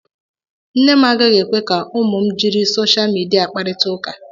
Nne m agaghị ekwe ka ụmụ m jiri sosha midia kparịta ụka